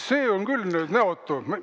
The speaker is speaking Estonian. See on küll nüüd näotu!